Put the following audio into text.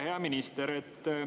Hea minister!